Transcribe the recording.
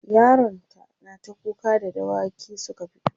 yaron ta nata kuka da dawaki Suka fito